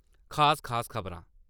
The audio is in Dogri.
खास-खास खबरां :